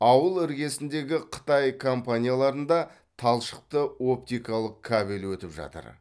ауыл іргесіндегі қытай компанияларында талшықты оптикалық кабель өтіп жатыр